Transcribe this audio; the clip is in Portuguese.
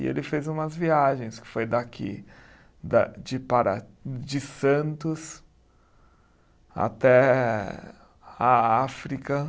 E ele fez umas viagens que foi daqui, da de para, de Santos até a África.